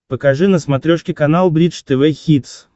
покажи на смотрешке канал бридж тв хитс